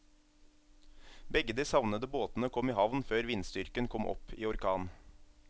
Begge de savnede båtene kom i havn før vindstyrken kom opp i orkan.